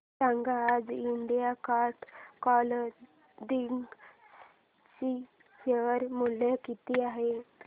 सांगा आज Indian card clothing चे शेअर मूल्य किती आहे